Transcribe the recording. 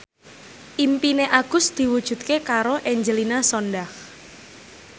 impine Agus diwujudke karo Angelina Sondakh